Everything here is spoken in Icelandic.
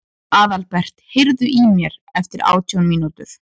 Aðalbert, heyrðu í mér eftir átján mínútur.